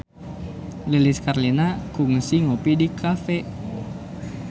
Lilis Karlina kungsi ngopi di cafe